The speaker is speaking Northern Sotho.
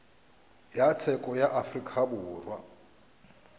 ya tsheko ya afrika borwa